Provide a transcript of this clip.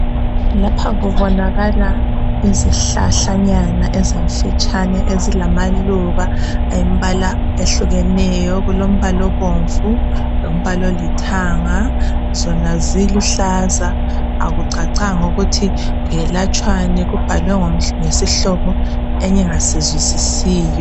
Lapha kubonakala izihlahlanyana ezimfitshane ezilamaluba ayimbala ehlukeneyo okulombala obomvu lombala olithanga zona ziluhlaza akucacanga ukuthi kuyelatshwani kubhalwe ngesihlobo engingasizwisisiyo.